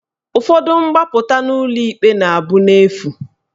Ụfọdụ mgbapụta n'ụlọ ikpe na abụ n'efu